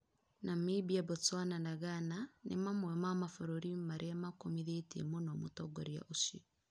Namimbia, Botswana na Ghana nĩ mamwe ma mabũrũri marĩa makũmĩthĩtĩe mũno mũtongorĩa ucĩo